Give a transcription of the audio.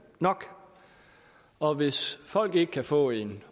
nok og hvis folk ikke kan få en